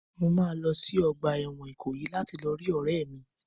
Mo máa lọ sí ọgbà ẹ̀wọ̀n Ikoyi láti lọ rí ọ̀rẹ́ mi.